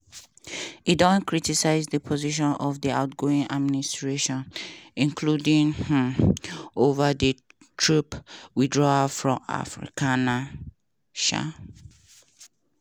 e don criticise di positions of di outgoing administration – including um ova di troop withdrawal from afghanistan. um